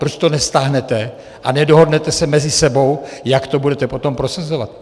Proč to nestáhnete a nedohodnete se mezi sebou, jak to budete potom prosazovat?